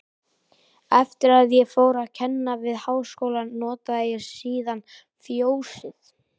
Eftir að ég fór að kenna við Háskólann, notaði ég síðan Fjósið